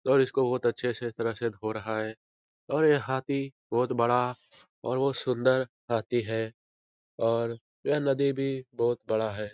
और इसको बहुत अच्छे से तरह से धो रहा है और ये हाथी बहुत बड़ा और बहुत सुंदर हाथी है और यह नदी भी बोहोत बड़ा है।